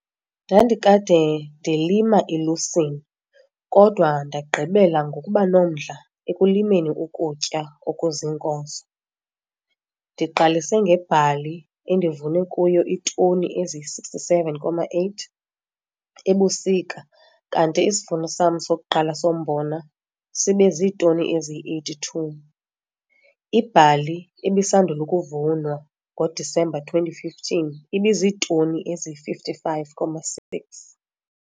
Ndandikade ndilima ilusini kodwa ndagqibela ngokuba nomdla ekulimeni ukutya okuziinkozo. Ndiqalise ngebhali endivune kuyo iitoni eziyi-67,8 ebusika kanti isivuno sam sokuqala sombona sibe ziitoni eziyi-82. Ibhali ebisandul' ukuvunwa ngoDisemba 2015 ibiziitoni eziyi-55,6.